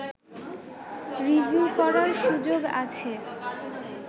review করার সুযোগ আছে